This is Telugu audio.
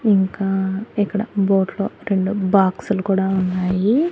ఇంకా ఇక్కడ బోట్ లో రెండు బాక్సు లు కూడా ఉన్నాయి.